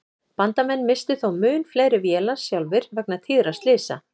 Bandamenn misstu þó mun fleiri vélar sjálfir vegna tíðra slysa.